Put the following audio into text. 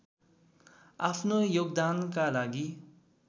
आफ्नो योगदानका लागि